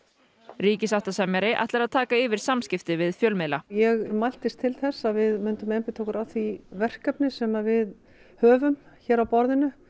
ríkissáttasemjari ætlar að taka yfir samskipti við fjölmiðla ég mæltist til þess að við myndum einbeita okkur að því verkefni sem við höfum hér á borðinu